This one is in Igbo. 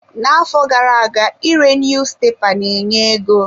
Na-afọ gara-aga ire niyuzupepa ne-enye ego.